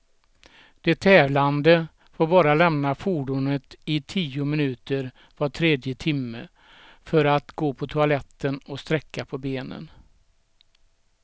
De tävlande får bara lämna fordonet i tio minuter var tredje timme, för att gå på toaletten och sträcka på benen.